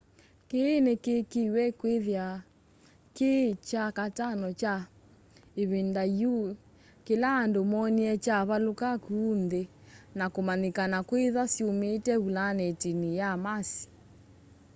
kĩĩ nĩkĩĩkĩĩwe kwĩthĩwa kĩ kya katano kwa ĩvinda yĩũ kĩla andũ moonĩe kyavalũka kũũ nthĩ nakũmanyĩkana kwĩtha syũmite vũlanetinĩ ya mars